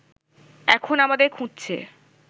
এখন আমাদের খুঁজছে